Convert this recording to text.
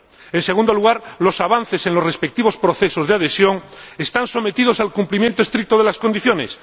En segundo lugar, los avances en los respectivos procesos de adhesión están sometidos al cumplimiento estricto de las condiciones.